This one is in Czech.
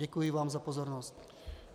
Děkuji vám za pozornost.